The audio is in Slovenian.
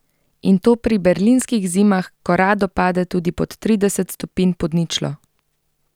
In to pri berlinskih zimah, ko rado pade tudi pod trideset stopinj pod ničlo!